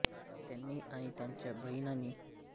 त्यांनी आणि त्यांच्या बहिणीने मिळून टी व्ही वरील मालिकांना संगीत दिले आहे